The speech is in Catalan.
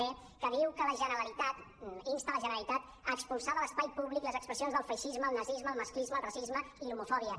d que insta la generalitat a expulsar de l’espai públic les expressions del feixisme el nazisme el masclisme el racisme i l’homofòbia